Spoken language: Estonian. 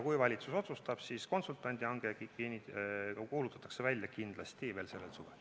Kui valitsus seda otsustab, siis konsultandi hange kuulutatakse välja kindlasti veel sellel suvel.